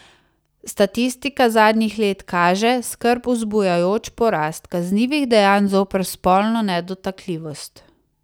Statistika zadnjih let kaže skrb vzbujajoč porast kaznivih dejanj zoper spolno nedotakljivost.